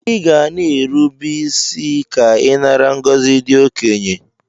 Iga na erube isi ke inara ngozi ndi okenye!!